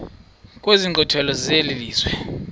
kwezi nkqwithela zelizwe